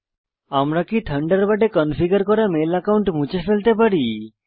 আমরা কি থান্ডারবার্ডে কনফিগার করা মেল একাউন্ট মুছে ফেলতে পারি160